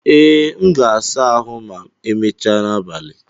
Ee, m ga-asa ahụ ma emechaa n'abalị.